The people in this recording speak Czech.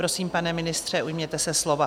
Prosím, pane ministře, ujměte se slova.